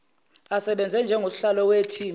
asebenze njengosihlalo wethimba